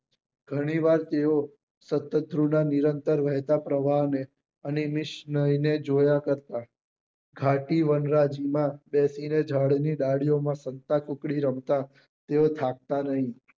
ગણી વાર તેઓ સતત રૂડા નિરંતર વહેતા પ્રવાહ ને અને વૈષ્ણવી ને જોયા કરતા ગારતી વનરાજ માં બેસી ને જાડો ની ડાળીઓ માં સંતાકુકડી રમતા તેઓ થાકતા નહિ